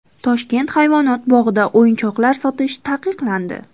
Toshkent hayvonot bog‘ida o‘yinchoqlar sotish taqiqlandi.